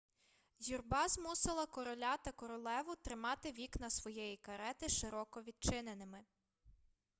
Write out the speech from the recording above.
юрба змусила короля та королеву тримати вікна своєї карети широко відчиненими